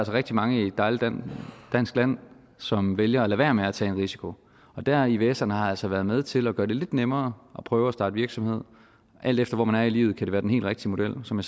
rigtig mange i et dejligt dansk land som vælger at lade være med at tage en risiko der har ivserne altså været med til at gøre det lidt nemmere at prøve at starte virksomhed alt efter hvor man er i livet kan det være den helt rigtige model som